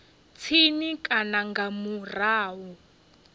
tsini na kana nga murahu